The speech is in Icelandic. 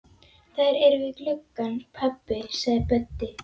Þær eru við gluggann, pabbi sagði Böddi.